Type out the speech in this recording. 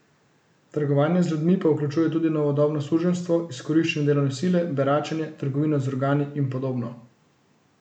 Trgovanje z ljudmi pa vključuje tudi novodobno suženjstvo, izkoriščanje delovne sile, beračenje, trgovino z organi in podobno.